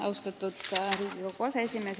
Austatud Riigikogu aseesimees!